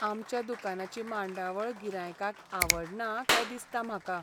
आमच्या दुकानाची मांडावळ गिरायकांक आवडना काय दिसता म्हाका.